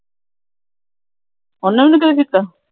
ਉਹਨੇ ਵੀ ਨਹੀਂ ਕੋਈ ਕੀਤਾ।